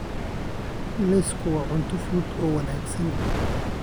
Lawsku waa cunto fudud oo wanaagsan.